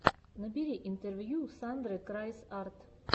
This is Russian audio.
набери интервью сандры крайс арт